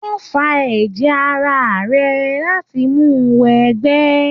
Wọ́n fa ẹ̀jẹ̀ ara rẹ̀ láti mu wọ ẹgbẹ́.